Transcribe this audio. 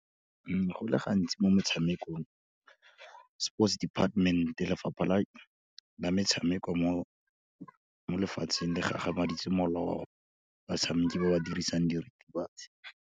Go le gantsi mo metshamekong, Sports Department, Lefapha la Bametshameko mo lefatsheng, le gagamaditse molao oa batshameki ba ba dirisang diritibatsi.